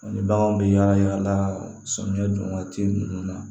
Ni baganw bɛ yaala yaala samiyɛ don waati ninnu na